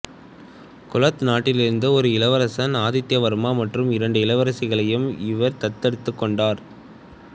கொளத்த நாட்டிலிருந்து ஒரு இளவரசன் ஆதித்யா வர்மா மற்றும் இரண்டு இளவரசிகளையும் இவர் தத்தெடுத்துக் கொண்டார்